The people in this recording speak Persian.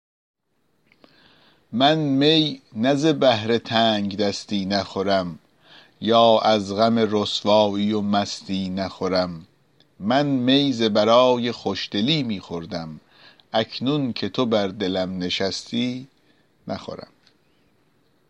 من می نه ز بهر تنگدستی نخورم یا از غم رسوایی و مستی نخورم من می ز برای خوشدلی می خوردم اکنون که تو بر دلم نشستی نخورم